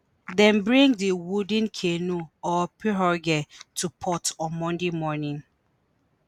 dem bring di wooden canoe or pirogue to port on monday morning.